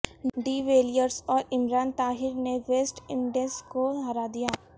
D Villiers اور عمران طاہر نے West Indies کو ہرا دیا